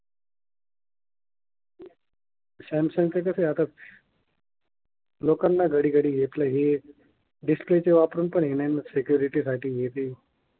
Samsung च कस आहे आता लोकांना घडी घडी घेतलं हे दिसतील तेव्हा पण पहिल्यांदा सेक्युरेटी साठी हे ते.